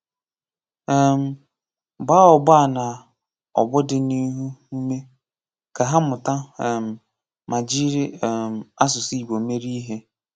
um Gbaá ọgbọ a na ọgbọ dịniihu ụmé, ka ha mụta um ma jiri um asụsụ Igbo mere ihe.